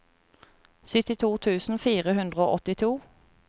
syttito tusen fire hundre og åttito